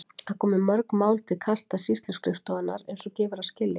Það komu mörg mál til kasta sýsluskrifstofunnar eins og gefur að skilja.